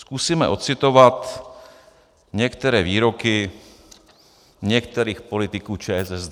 Zkusíme ocitovat některé výroky některých politiků ČSSD.